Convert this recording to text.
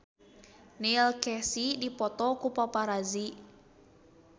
Neil Casey dipoto ku paparazi